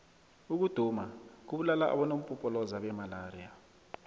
ukuduma kubulala abonompopoloza bemalaxia